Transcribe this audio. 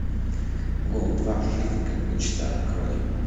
гол два жизнь как мечта открой